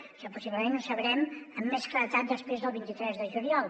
això possiblement ho sabrem amb més claredat després del vint tres de juliol